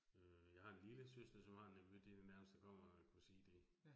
Øh jeg har en lillesøster, som har en nevø, det det nærmeste jeg kan kommer at kunne sige det